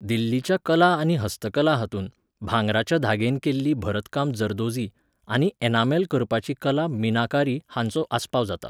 दिल्लीच्या कला आनी हस्तकला हातूंत, भांगराच्या धागेन केल्ली भरतकाम जरदोझी, आनी एनामेल करपाची कला मीनाकारी हांचो आस्पाव जाता.